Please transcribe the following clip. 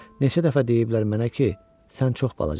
Neçə dəfə deyiblər mənə ki, sən çox balacasan.